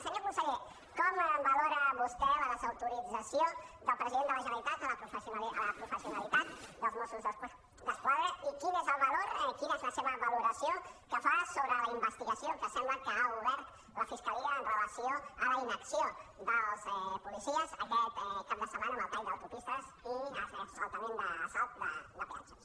senyor conseller com valora vostè la desautorització del president de la genera·litat a la professionalitat dels mossos d’esquadra i quin és el valor quina és la seva valoració que fa sobre la investigació que sembla que ha obert la fiscalia amb relació a la inacció dels policies aquest cap de setmana amb els talls d’autopistes i l’assalta·ment l’assalt de peatges